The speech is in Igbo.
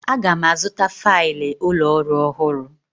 Aga m azụta failụ ụlọ ọrụ ọhụrụ.